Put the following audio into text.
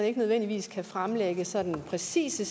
ikke nødvendigvis kan fremlægge sådan præcise